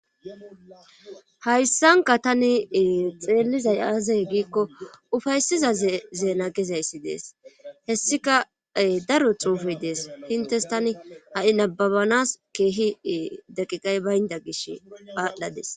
hayssanka tani xeellizay aaza giikko ufaysizaze nagizayssi dees hessika daro xuufey dees hintes tani ha7i nababanas keehi deqiqay baynda gish aadhdhades